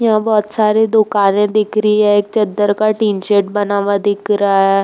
यहाँ बहोत सारी दुकानें दिख रही हैं। एक चद्दर का टीन शेड बना हुआ दिख रहा है।